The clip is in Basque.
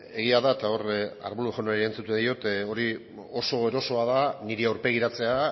egia da eta hor arbulo jaunari erantzuten diot hori oso erosoa da niri aurpegiratzea